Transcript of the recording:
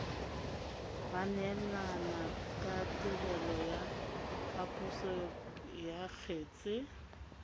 baneelanakatirelo ya phaposo ya kgetse